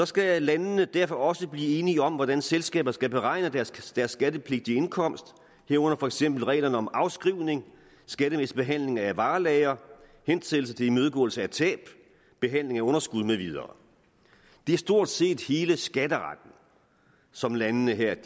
skal landene derfor også blive enige om hvordan selskaber skal beregne deres deres skattepligtige indkomst herunder for eksempel reglerne om afskrivning skattemæssig behandling af varelagre hensættelse til imødegåelse af tab behandling af underskud med videre det er stort set hele skatteretten som landene her